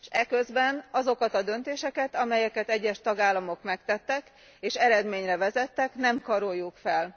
És eközben, azokat a döntéseket, amelyeket egyes tagállamok megtettek és eredményre vezettek, nem karoljuk fel.